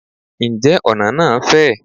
Ǹjẹ́ ọ̀nà náà fẹ̀?